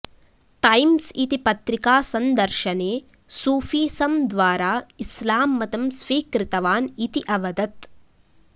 times इति पत्रिकासन्दर्शने Sufism द्वारा इस्लां मतं स्वीकृतवान् इति अवदत्